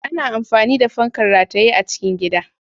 Ana amfani da fankar rataye a cikin gida.